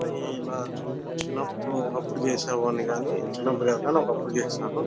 ఈ ఇలా చిన్న చిన్నప్ప్పుడు చేసే ఒకప్పుడు చేసేవాణ్ణి గని చిన్నప్పుడు కాదు గని ఒకప్పుడు చేశాను